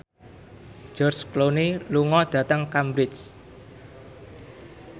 George Clooney lunga dhateng Cambridge